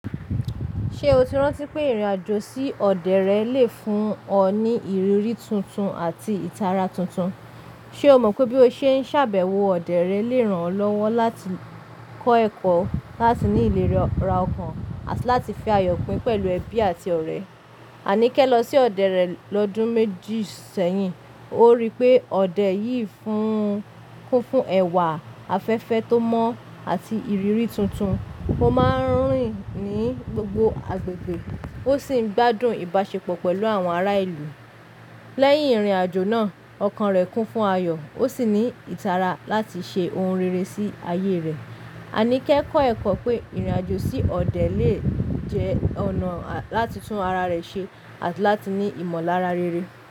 Ṣé o ti rántí pé ìrìn àjò sí ọdẹ rẹ le fún ọ ní ìrírí tuntun àti ìtara tuntun? Ṣe o mọ pe bí o ṣe ń ṣàbẹ̀wọ̀ ọdẹ rẹ le ràn ọ́ lọ́wọ́ láti kọ́ ẹ̀kọ́, láti ní ìlera ọkàn àti láti fi àyọ̀ pín pẹ̀lú ẹbí àti ọ̀rẹ́. Aníkẹ́ lọ sí ọdẹ rẹ̀ lọ́dún méjì sẹ́yìn, ó rí pé ọdẹ yìí kún fún ẹwà, afẹ́fẹ́ tó mọ́ àti ìrírí tuntun. Ó máa ń rìn ní gbogbo agbègbè, ó sì ń gbádùn ìbáṣepọ̀ pẹ̀lú àwọn ará ìlú. Lẹ́yìn ìrìn àjò náà, ọkàn rẹ̀ kún fún àyọ̀, ó sì ní ìtara láti ṣe ohun rere sí ayé rẹ̀. Aníkẹ́ kọ́ ẹ̀kọ́ pé ìrìn àjò sí ọdẹ lè jẹ́ ọ̀nà láti tún ara rẹ ṣe àti láti ní ìmọ̀lára rere.